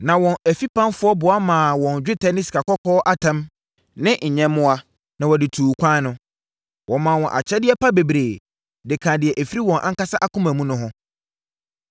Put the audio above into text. Na wɔn afipamfoɔ boa maa wɔn dwetɛ ne sikakɔkɔɔ atam ne nyɛmmoa, ma wɔde tuu kwan no. Wɔmaa wɔn akyɛdeɛ pa bebree de kaa deɛ ɛfiri wɔn ankasa akoma mu no ho.